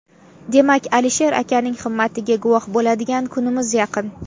Demak, Alisher akaning himmatiga guvoh bo‘ladigan kunimiz yaqin.